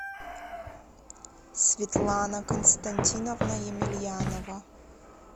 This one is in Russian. светлана константиновна емельянова